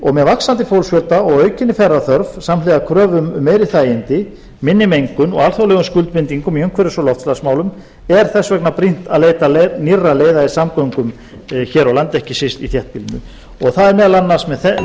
og með vaxandi fólksfjölda og aukinni ferðaþörf samhliða kröfum um meiri þægindi minni mengun og alþjóðlegum skuldbindingum í umhverfis og loftslagsmálum er þess vegna brýnt að leita nýrra leiða í samgöngum hér á landi ekki síst í þéttbýlinu og það er meðal annars með